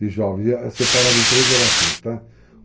de jovens, separado em três gerações, tá? Uh...